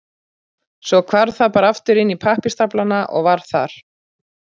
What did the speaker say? Svo hvarf það bara aftur inn í pappírsstaflana og var þar.